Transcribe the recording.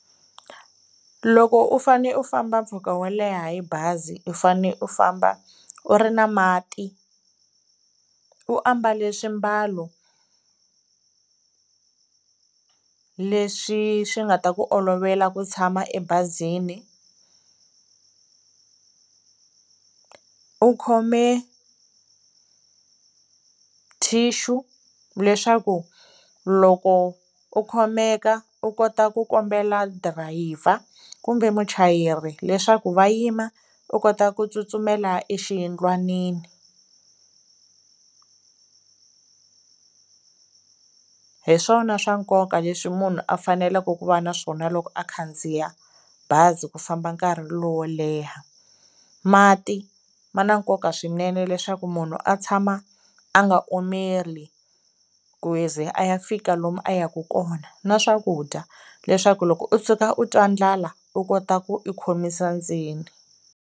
Loko u fane u famba mpfhuka wo leha hi bazi u fane u famba u ri na mati, u ambala swiambalo leswi swi nga ta ku olovela ku tshama ebazini, u khome thishu leswaku loko u khomeka u kota ku kombela drayiva kumbe muchayeri leswaku va yima u kota ku tsutsumela exiyindlwanini. Hi swona swa nkoka leswi munhu a faneleke ku va na swona loko a khandziya bazi ku famba nkarhi lowo leha, mati ma na nkoka swinene leswaku munhu a tshama a nga omeli ku ze a ya fika lomu a yaka kona na swakudya leswaku loko u tshuka u twa ndlala u kota ku u khomisa ndzeni.